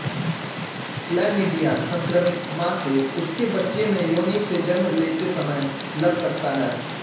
chlamydia संक्रमित मां से उसके बच्चे में योनि से जन्म लेते समय लग सकता है